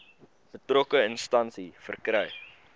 betrokke instansie verkry